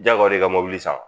Jagoya don i ka mobili san ?